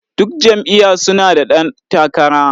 Duk jam'iyya su na da ɗan takara.